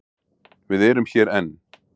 Við erum hér enn.